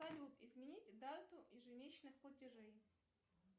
салют изменить дату ежемесячных платежей